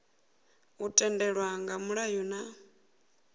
u tendelwa nga mulayo na